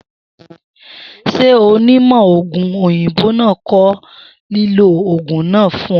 S̩e onímò̩ ògùn òyìnbó náà ko̩ lílò ògùn náà fún o̩?